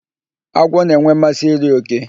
Agwọ na-enwe mmasị iri òké.